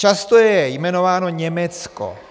Často je jmenováno Německo.